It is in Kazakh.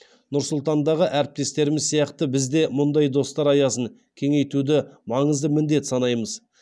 нұр сұлтандағы әріптестеріміз сияқты біз де мұндай достар аясын кеңейтуді маңызды міндет санаймыз